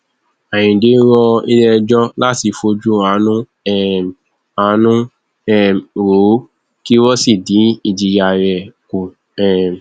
àyíǹde rọ iléẹjọ láti fojú àánú um àánú um wò ó kí wọn sì dín ìjìyà rẹ kù um